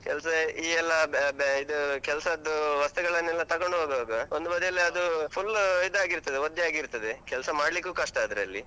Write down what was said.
ಕೆಲ್ಸ ಈ ಎಲ್ಲಾ, ಆ ಬ ಬ ಇದೂ, ಕೆಲ್ಸದ್ದೂ ವಸ್ತುಗಳನ್ನೆಲ್ಲಾ ತೊಗೊಂಡ್ ಹೋಗುವಾಗ ಒಂದು ಬದಿ ಅದು full ಇದ್ ಆಗಿರ್ತದೆ, ಒದ್ದೆ ಆಗಿರ್ತದೆ, ಕೆಲ್ಸ ಮಡಿಲಿಕ್ಕೂ ಕಷ್ಟ ಅದ್ರಲ್ಲಿ.